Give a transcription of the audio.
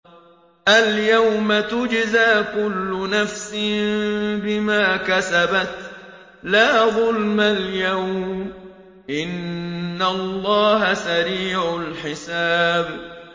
الْيَوْمَ تُجْزَىٰ كُلُّ نَفْسٍ بِمَا كَسَبَتْ ۚ لَا ظُلْمَ الْيَوْمَ ۚ إِنَّ اللَّهَ سَرِيعُ الْحِسَابِ